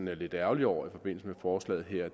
er lidt ærgerlig over i forbindelse med forslaget her